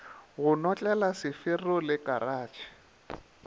go notlela sefero le karatšhe